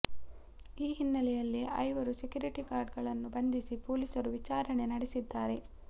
ಈ ಹಿನ್ನೆಲೆಯಲ್ಲಿ ಐವರು ಸೆಕ್ಯೂರಿಟಿ ಗಾರ್ಡ್ ಗಳನ್ನು ಬಂಧಿಸಿ ಪೊಲೀಸರು ವಿಚಾರಣೆ ನಡೆಸಿದ್ದಾರೆ